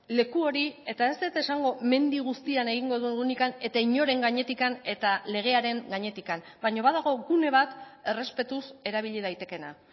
leku hori eta ez dut esango mendi guztian egingo dugunik eta inoren gainetik eta legearen gainetik baina badago gune bat errespetuz erabili daitekeena